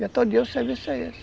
E até o dia o serviço é esse.